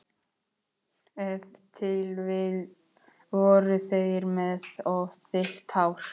Ef til vill voru þeir með of þykkt hár.